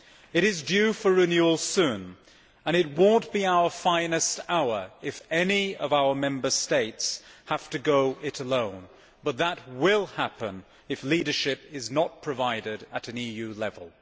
It is due for renewal soon and it will not be our finest hour if any of our Member States have to go it alone, but that will happen if leadership is not provided at an EU level.